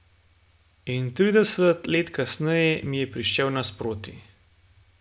In trideset let kasneje mi je prišel naproti.